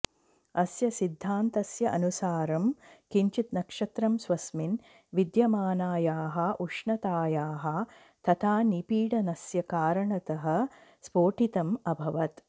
अस्य सिद्धान्तस्य अनुसारं किञ्चित् नक्षत्रं स्वस्मिन् विद्यमानायाः उष्णतायाः तथा निपीडनस्य कारणतः स्फोटितम् अभवत्